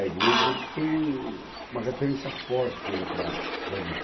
A igreja foi um uma referência forte, né, para para mim.